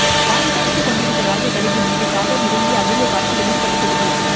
வானில் பறந்து கொண்டிருந்த ராஜ கழுகு மீது காகம் இறங்கிய அபூர்வ காட்சிகளின் படத்தொகுப்பு